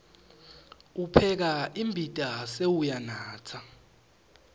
upheka imbita sewuyanatsa